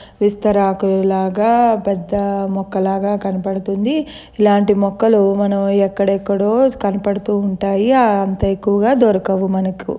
విస్తరాకుల్లాగా పెద్ద మొక్క లాగా కనబడుతోంది. ఇలాంటి మొక్కలు మనం ఎక్కడెక్కడో కనబడుతూ ఉంటాయి. అంత ఎక్కువగా దొరకవు మనకు.